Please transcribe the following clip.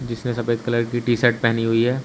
जिसने सफेद कलर की टी शर्ट पेहनी हुई है।